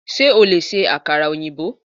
Sé o lè se àkàrà òyìnbó?